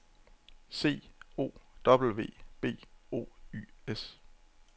C O W B O Y S